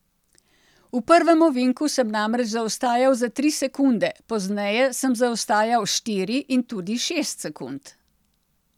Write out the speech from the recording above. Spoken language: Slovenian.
V prvem ovinku sem namreč zaostajal za tri sekunde, pozneje sem zaostajal štiri in tudi šest sekund.